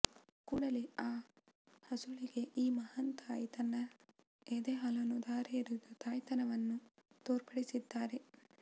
ಕೂಡಲೇ ಆ ಹಸುಳೆಗೆ ಈ ಮಹಾನ್ ತಾಯಿ ತನ್ನ ಎದೆಹಾಲನ್ನ ಧಾರೆ ಎರೆದು ತಾಯ್ತನವನ್ನ ತೋರ್ಪಡಿಸಿದ್ದಾರೆ